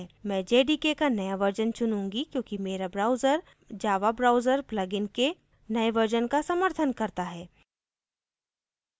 मैं jdk का नया version चुनूँगी क्योंकि मेरा browser java browser प्लगइन के नये version का समर्थन करता है